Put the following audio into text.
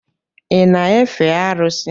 Ị na-efe arụsị?